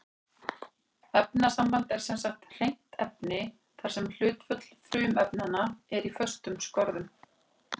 Efnasamband er sem sagt hreint efni þar sem hlutföll frumefnanna er í föstum skorðum.